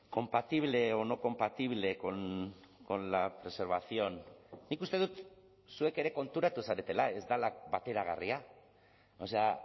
compatible o no compatible con la preservación nik uste dut zuek ere konturatu zaretela ez dela bateragarria o sea